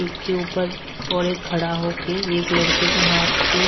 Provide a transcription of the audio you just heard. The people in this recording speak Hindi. एक के ऊपर और एक खड़ा होके एक लड़के के हाथ पे--